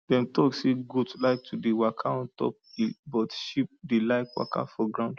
dem talk say goat like to dey waka on top hill but sheep dey like waka for ground